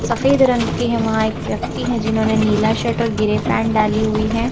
सफेद रंग की है वहां एक व्यक्ति हैं जिन्होंने नीला शर्ट और ग्रे पैंट डाली हुई है।